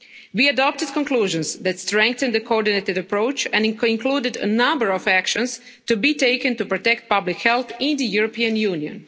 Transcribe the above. We adopted conclusions that strengthened the coordinated approach and included a number of actions to be taken to protect public health in the European Union.